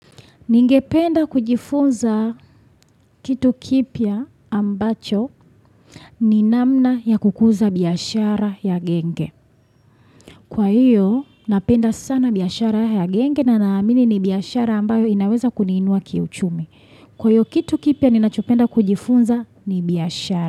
Ningependa kujifunza kitu kipya ambacho ni namna ya kukuza biashara ya genge. Kwa hiyo, napenda sana biashara ya genge na naamini ni biashara ambayo inaweza kuniinua kiuchumi. Kwa hio kitu kipya ninachopenda kujifunza ni biashara.